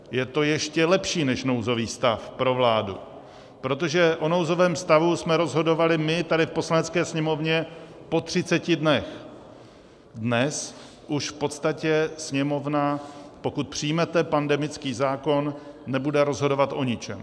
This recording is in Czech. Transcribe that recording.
Je to ještě lepší než nouzový stav pro vládu, protože o nouzovém stavu jsme rozhodovali my tady v Poslanecké sněmovně po 30 dnech, dnes už v podstatě Sněmovna, pokud přijmete pandemický zákon, nebude rozhodovat o ničem.